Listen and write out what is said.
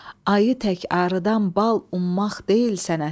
Ayı tək arıdan bal ummaq deyil sənətin.